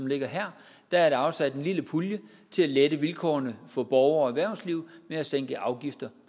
ligger her er der afsat en lille pulje til at lette vilkårene for borgere og erhvervsliv ved at sænke afgifter